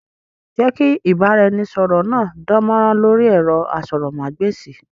Jẹ́ kí ìbára ẹni sọ̀rọ̀ náà dán mọ́rán lórí ẹ̀rọ asọ̀rọ̀mágb'èsì!